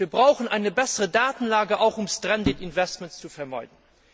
Das heißt, wir brauchen eine bessere Datenlage, auch um verlorene Investitionen zu vermeiden.